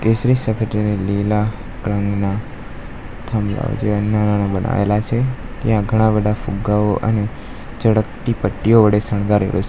લીલા રંગના થાંભલા બનાવેલા છે ત્યાં ઘણા બધા ફુગ્ગાઓ અને ચળકતી પટ્ટીઓ વડે શણગારેલુ છે.